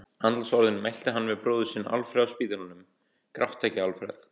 Andlátsorðin mælti hann við bróður sinn Alfreð á spítalanum: Gráttu ekki, Alfreð!